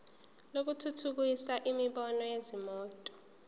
lokuthuthukisa imboni yezimoto